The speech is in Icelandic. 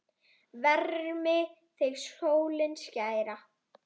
Vermi þig sólin skæra!